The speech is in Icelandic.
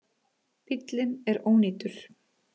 Bíllinn er ónýtur